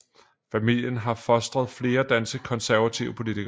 Familien har fostret flere danske konservative politikere